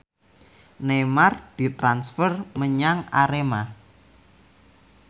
Neymar ditransfer menyang Arema